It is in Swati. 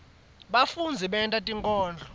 bafundzi benta tinkondlo